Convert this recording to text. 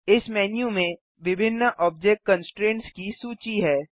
इस मेन्यू में विभिन्न ऑब्जेक्ट कन्स्ट्रेन्ट्स की सूची है